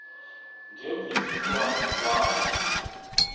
ngemvisiswano r kwabo